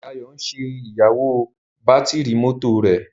Dayo ń ṣe iyewo Bátìrì mọ́tò rẹ.